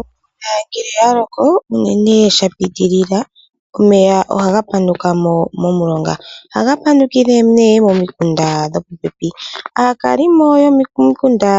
Omvula ngele yaloko uunene shapitilila omeya ohaga panukamo momulonga . Ohaga panukile momikunda dhopopepi. Aaakalimo mbano yopomikunda